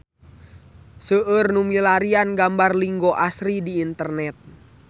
Seueur nu milarian gambar Linggo Asri di internet